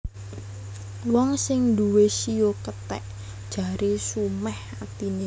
Wong sing nduwé shio kethèk jaré sumèh atiné